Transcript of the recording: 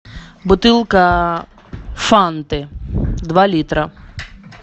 бутылка фанты два литра